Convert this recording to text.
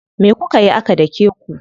Me kukayi aka dake ku?